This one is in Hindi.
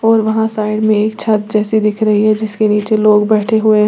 और वहां साइड में एक छत जैसे दिख रही है जिसके नीचे लोग बैठे हुए हैं।